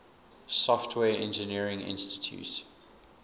software engineering institute